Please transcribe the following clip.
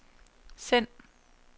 send